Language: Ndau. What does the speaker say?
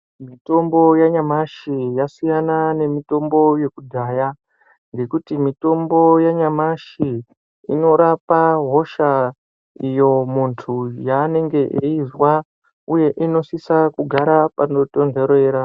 Mitombo yanyamashi yakasiyana nemitombo yekudhaya ngekuti mitombo yanyamashi inorapa hosha iyo muntu yanenge eizwa uye inosisa kugara panotondorera.